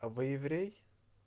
а вы еврей